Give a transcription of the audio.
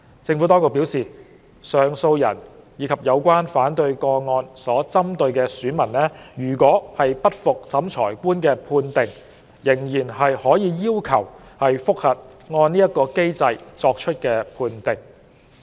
政府當局表示，上訴人及有關反對個案所針對的選民如不服審裁官的判定，仍可要求覆核按此機制作出的判定。